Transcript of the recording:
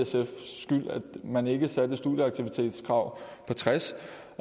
man ikke satte et studieaktivitetskrav på tres